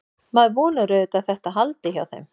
Maður vonar auðvitað að þetta haldi hjá þeim.